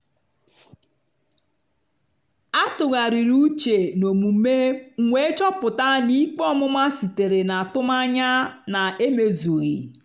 a tụgharịrị uche n'omume m wee chọpụta na ikpe ọmụma sitere n'atụmanya na-emezughị.